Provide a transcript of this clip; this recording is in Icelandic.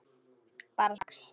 Bara strax.